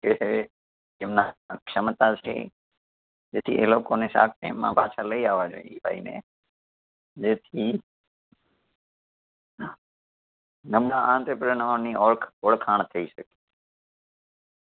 એટલે એમના ક્ષમતાથી તેથી એ લોકોને shark tank માં પાછા લઈ આવવા જોઈએ એ ભાઈને જેથી નબળા entrepreneur ની ઓળખ ઓળખાણ થઈ શકે